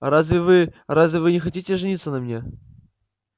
разве вы разве вы не хотите жениться на мне